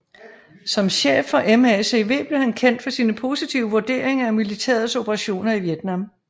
Som chef for MACV blev han kendt for sine positive vurderinger af militærets operationer i Vietnam